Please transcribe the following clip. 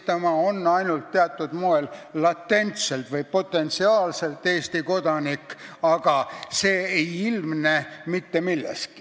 Ta on ainult teatud moel, latentselt või potentsiaalselt Eesti kodanik, aga see ei ilmne mitte milleski.